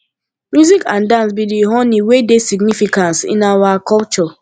music and dance be di honey wey dey significance in our culture